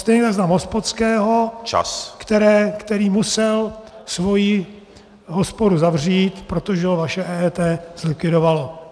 Stejně tak znám hospodského , který musel svoji hospodu zavřít, protože ho vaše EET zlikvidovalo.